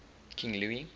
king louis